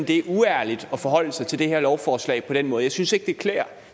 det er uærligt at forholde sig til det her lovforslag på den måde jeg synes ikke det klæder